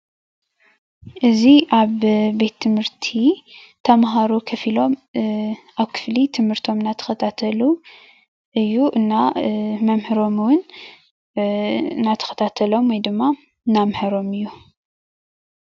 እዚ ኣብ ቤት ትምህርቲ ተምሃሮ ኮፍ ኢሎም ኣብ ክፍሊ ትምህርቶም እናተከታተሉ እዩ፣ እና መምህሮም እውን እናተከታተሎም ወይድማ እናምሀሮም እዩ፡፡